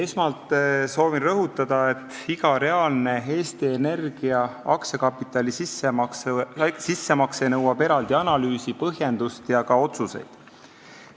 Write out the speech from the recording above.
" Esmalt soovin rõhutada, et iga reaalne Eesti Energia aktsiakapitali sissemakse nõuab eraldi analüüsi, põhjendust ja ka otsuseid.